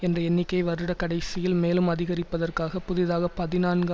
என்ற எண்ணிக்கையை வருட கடைசியில் மேலும் அதிகரிப்பதற்காக புதிதாக பதினான்கு